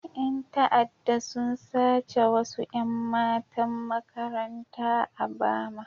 Yan ta'adda sun sace wasu 'yan matan makaranta a Bama.